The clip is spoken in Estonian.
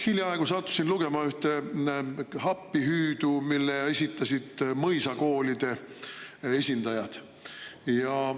Hiljaaegu sattusin lugema ühte appihüüdu, mille esitasid mõisakoolide esindajad.